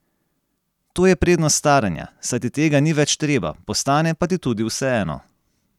To je prednost staranja, saj ti tega ni več treba, postane pa ti tudi vseeno.